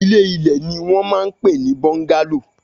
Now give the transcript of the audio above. Ilé ilè ni wón man pe ni bóńgálò